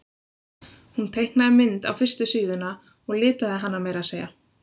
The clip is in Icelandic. Hún teiknaði mynd á fyrstu síðuna og litaði hana meira að segja.